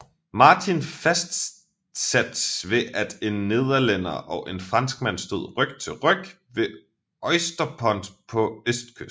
Martin fastsat ved at en nederlænder og en franskmand stod ryg til ryg ved Oysterpond på østkysten